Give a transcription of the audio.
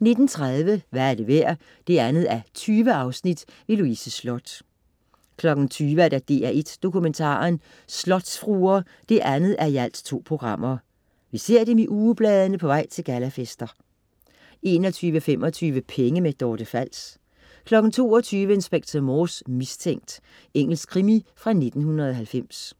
19.30 Hvad er det værd? 2:20. Louise Sloth 20.00 DR1 Dokumentaren: Slotsfruer 2:2. Vi ser dem i ugebladene på vej til gallafester 21.25 Penge. Dorte Fals 22.00 Inspector Morse: Mistænkt. Engelsk krimi fra 1990